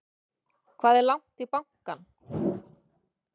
Það er langt í bankann!